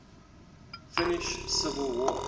finnish civil war